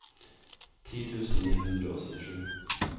ti tusen ni hundre og syttisju